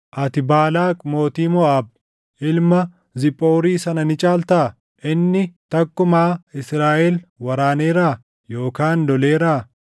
Ati Baalaaq mootii Moʼaab ilma Ziphoori sana ni caaltaa? Inni takkumaa Israaʼel waraaneeraa? Yookaan loleeraa?